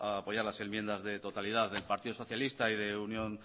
apoyar las enmiendas de totalidad del partido socialista y de unión